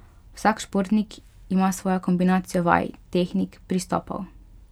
Vsak športnik ima svojo kombinacijo vaj, tehnik, pristopov ...